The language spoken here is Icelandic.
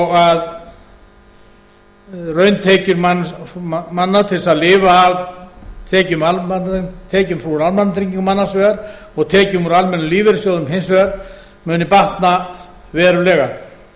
og að rauntekjur manna til þess að lifa af tekjum almannatrygginga annars vegar og tekjum úr almennum lífeyrissjóðum hins vegar muni batna verulega fyrir